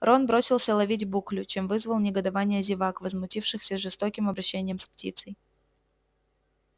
рон бросился ловить буклю чем вызвал негодование зевак возмутившихся жестоким обращением с птицей